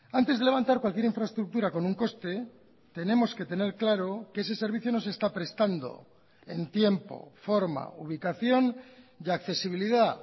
antes de levantar cualquier infraestructura con un coste tenemos que tener claro que ese servicio no se está prestando en tiempo forma ubicación y accesibilidad